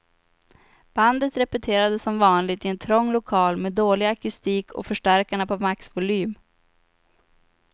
Bandet repeterade som vanligt i en trång lokal med dålig akustik och förstärkarna på maxvolym.